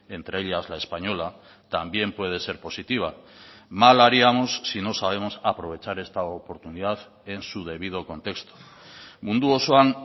entre ellas la española también puede ser positiva mal haríamos si no sabemos aprovechar esta oportunidad en su debido contexto mundu osoan